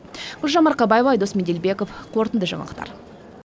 гүлжан марқабаева айдос меделбеков қорытынды жаңалықтар